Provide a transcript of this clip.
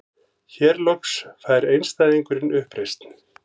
Hér loks fær einstæðingurinn uppreisn.